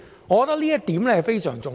我覺得這點非常重要。